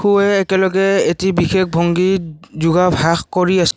একেলগে এটি বিশেষ ভংগীত যোগাভ্যাস কৰি আছে।